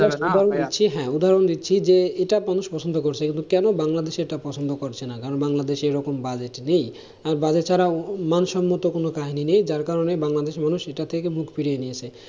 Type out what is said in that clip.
হ্যাঁ, উদাহরণ দিচ্ছি যে এটা মানুষ পছন্দ করছে, এগুলো কেন এটা বাংলাদেশে পছন্দ করছে না? কারণ বাংলাদেশে এইরকম budget নেই, আর budget ছাড়া কোনো কাহিনী নেই যার কারণে বাংলাদেশের মানুষ এইটা থেকে মুখ ফিরিয়ে নিয়েছে।